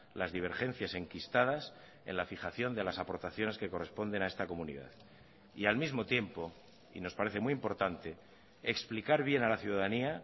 las divergencias enquistadas en la fijación de las aportaciones que corresponden a esta comunidad y al mismo tiempo y nos parece muy importante explicar bien a la ciudadanía